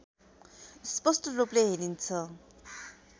स्‍पष्‍ट रूपले हेरिन्छ